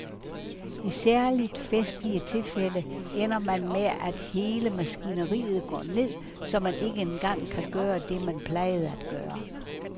I særligt festlige tilfælde ender man med at hele maskineriet går ned, så man ikke engang kan gøre det, man plejede atgøre.